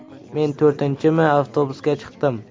Men to‘rtinchimi avtobusga chiqdim.